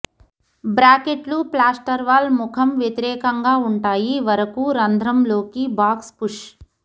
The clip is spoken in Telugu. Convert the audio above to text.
బ్రాకెట్లు ప్లాస్టార్వాల్ ముఖం వ్యతిరేకంగా ఉంటాయి వరకు రంధ్రం లోకి బాక్స్ పుష్